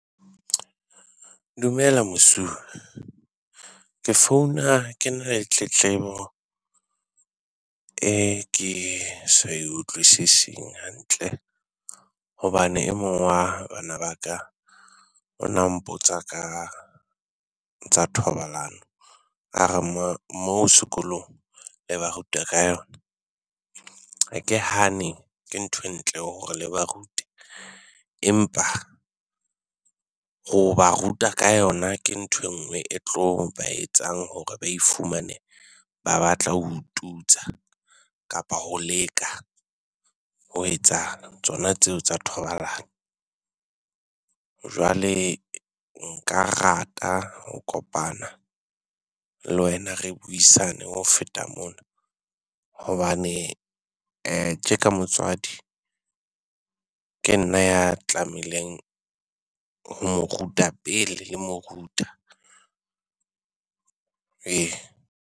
Dumela mosuwe. Ke founa ke na le tletlebo e ke sa e utlwisising hantle hobane e mong wa bana ba ka o na mpotsa ka tsa thobalano. A re moo sekolong le ba ruta ka yona. Ha ke hane ke ntho e ntle hore le ba rute, empa ho ba ruta ka yona ke ntho enngwe e tlo ba etsang hore ba ifumane ba batla ho tutsa kapa ho leka ho etsa tsona tseo tsa thobalano. Jwale nka rata ho kopana le wena re buisane ho feta mona. Hobane tje ka motswadi ke nna ya tlamehileng ho mo ruta pele le mo ruta. Ee.